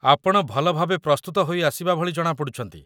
ଆପଣ ଭଲ ଭାବେ ପ୍ରସ୍ତୁତ ହୋଇ ଆସିବା ଭଳି ଜଣାପଡ଼ୁଛନ୍ତି